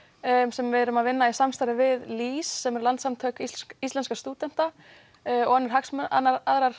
sem við erum að vinna í samstarfi við LÍS sem eru Landssamtök íslenskra stúdenta og aðrar